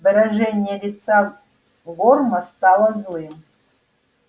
выражение лица горма стало злым